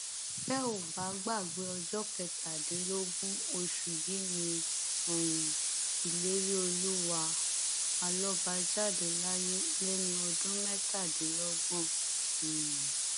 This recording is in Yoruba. tẹ ò bá gbàgbé ọjọ kẹtàdínlógún oṣù yìí ni um ìléríolúwà alọba jáde láyé lẹni ọdún mẹtàdínlọgbọn um